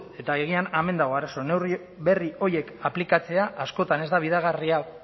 eta agian hemen dago arazoa neurri berri horiek aplikatzea askotan ez da